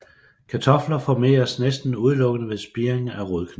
Kartofler formeres næsten udelukkende ved spiring af rodknolde